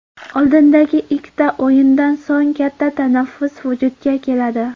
Oldindagi ikkita o‘yindan so‘ng katta tanaffus vujudga keladi.